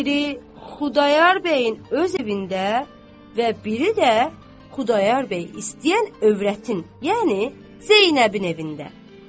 Biri Xudayar bəyin öz evində və biri də Xudayar bəy istəyən övrətin, yəni Zeynəbin evində.